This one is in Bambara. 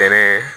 Fɛnɛ